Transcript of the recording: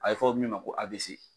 A ye fɔ min ma ko AVC